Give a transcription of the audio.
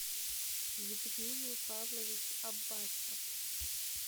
евгений павлович аббасов